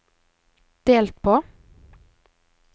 delt på